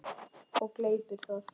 Og gleypir það.